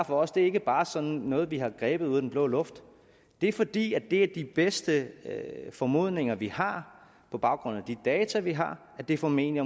for os ikke bare sådan noget vi har grebet ud af den blå luft det er fordi det er de bedste formodninger vi har på baggrund af de data vi har at det formentlig